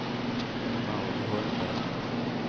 Maud Holmberg